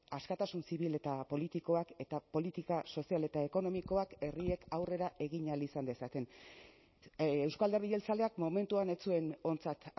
askatasun zibil eta politikoak eta politika sozial eta ekonomikoak herriek aurrera egin ahal izan dezaten euzko alderdi jeltzaleak momentuan ez zuen ontzat